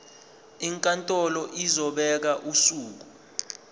inkantolo izobeka usuku